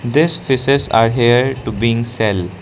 this fishes are here to being sell.